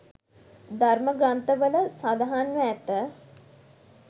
ධර්ම ග්‍රන්ථවල සඳහන්ව ඇත.